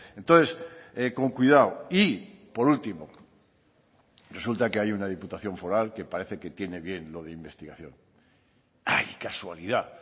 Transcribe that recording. entonces con cuidado y por último resulta que hay una diputación foral que parece que tiene bien lo de investigación ay casualidad